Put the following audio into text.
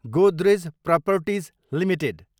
Godrej properties Ltd